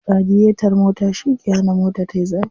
Radiyetar mota shi ke hana mota tayi zafi.